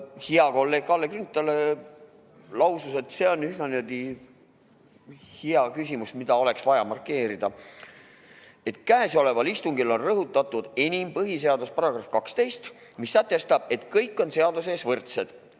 Hea kolleeg Kalle Grünthal lausus – see on üsna hea küsimus, mida oleks vaja markeerida –, et käesoleval istungil on rõhutatud enim põhiseaduse § 12, mis sätestab, et kõik on seaduse ees võrdsed.